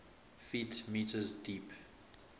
ft m deep